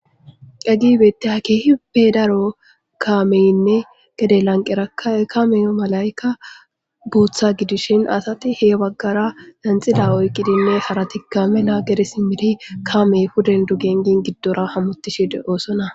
Hagey betiyagey keehippe daro kameynne gede lanqera kameyo malaykka bootha gidishin asati he baggara lenxila oyqqidinne harati kamena gere simiri kaamey huden dugen gin giddora hamuttishide oosona